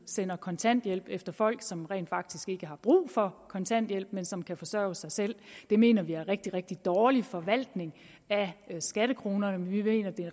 sender kontanthjælp efter folk som rent faktisk ikke har brug for kontanthjælp men som kan forsørge sig selv det mener vi er en rigtig rigtig dårlig forvaltning af skattekronerne vi mener at det